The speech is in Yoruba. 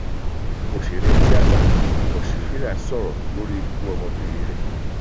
òṣèré tíáta ọsifílíà sọrọ lórí ikú ọmọbìnrin rẹ